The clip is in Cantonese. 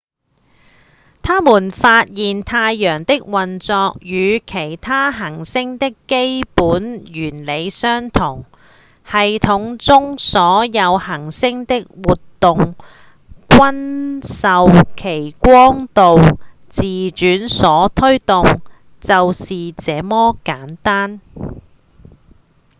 他們發現太陽的運作與其他恆星的基本原理相同：系統中所有恆星的活動均受其光度、自轉所推動就是這麼簡單